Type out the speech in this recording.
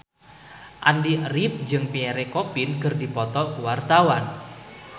Andy rif jeung Pierre Coffin keur dipoto ku wartawan